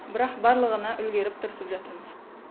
бірақ барлығына үлгеріп тырысып жатырмыз